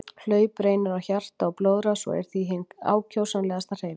Hlaup reynir á hjarta og blóðrás og er því hin ákjósanlegasta hreyfing.